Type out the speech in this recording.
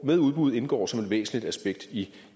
med udbud indgår som et væsentligt aspekt i